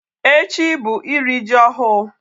Echi bụ iri ji ọhụụ.